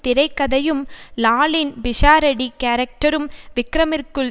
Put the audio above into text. திரைக்கதையும் லாலின் பிஷாரடி கேரக்டரும் விக்ரமிற்குள்